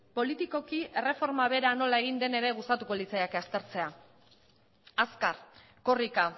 politikoki erreforma bera nola egin den ere gustatuko litzaidake aztertzea azkar korrika